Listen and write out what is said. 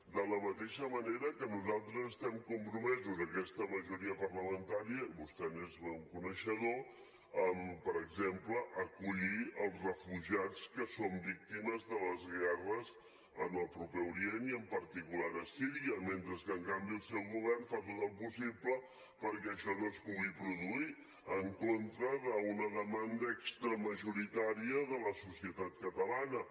de la mateixa manera que nosaltres estem compromesos aquesta majoria parlamentària vostè n’és coneixedor amb per exemple acollir els refugiats que són víctimes de les guerres en el proper orient i en particular a síria mentre que en canvi el seu govern fa tot el possible perquè això no es pugui produir en contra d’una demanda extramajoritària de la societat catalana